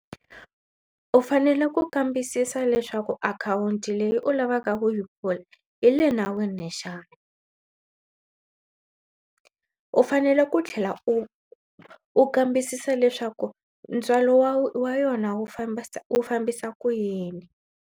U fanele ku kambisisa leswaku akhawunti leyi u lavaka ku yi pfula yi le nawini xana. U fanele ku tlhela u u kambisisa leswaku ntswalo wa wa yona wu fambisa fambisa ku yini.